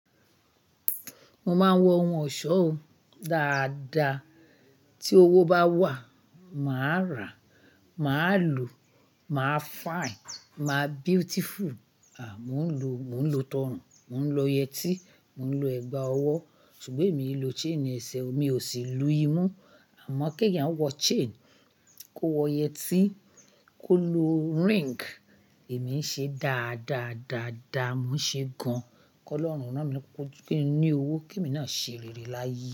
Mo máa ń wọ ohun ọ̀ṣọ́ dáadáa. Tí owó bá wà, màá rà, màá lò, màá fine, màá beautiful. À, mò ń lo, mò ń lo tọrùn, mò ń lo yẹtí, mò ń lo ẹ̀gbà ọwọ́. Ṣùgbọ́n èmi e lò chain ẹsẹ̀ mi, ò sì lu imú. Àmọ́ kí èèyàn wọ chain, kó wọ yẹtí, kó lo ring, èmi ń ṣe dáa, dáa, dáa, dáa. Mo ń ṣe gan. Kọ́lọ́rùn ran mí lowo pé kí n ní owó kí mo náà ṣe rere láyé.